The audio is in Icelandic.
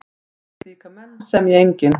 Við slíka menn semji enginn.